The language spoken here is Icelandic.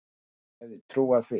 Hver hefði trúað því?